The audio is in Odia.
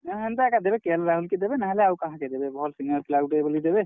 ନେ ହେନ୍ତା ଏକା ଦେବେ କେ ଏଲ୍ ରାହୁଲ୍ କେ ଦେବେ ନାହେଲେ ଆଉ କାହାକେଦେବେ ଭଲ୍ senior player ଗୁଟେ ବଲି ଦେବେ।